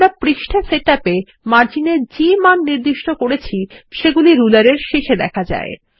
আমরা পৃষ্ঠা সেটআপ এ মার্জিন এর যে মান নির্দিষ্ট করেছি সেগুলি রুলার এর শেষে দেখা যায়